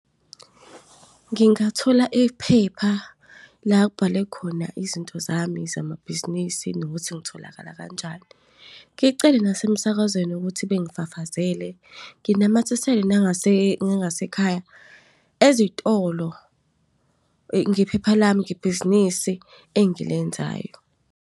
Ngingathola iphepha la kubhalwe khona izinto zami zamabhizinisi nokuthi ngitholakala kanjani. Ngicele nasemsakazweni ukuthi bengifafazele. Nginamathisele nangasekhaya ezitolo iphepha lami ngebhizinisi engilenzayo.